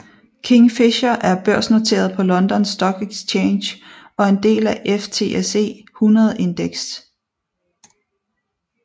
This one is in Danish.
Kingfisher er børsnoteret på London Stock Exchange og en del af FTSE 100 Index